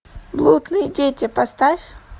блудные дети поставь